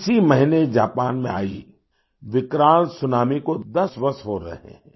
इसी महीने जापान में आई विकराल सुनामी को 10 वर्ष हो रहे हैं